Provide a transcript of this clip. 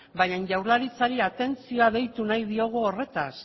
baina jaurlaritzari atentzioa deitu nahi diogu horretaz